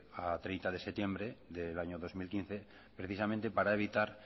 a treinta de septiembre del año dos mil quince precisamente para evitar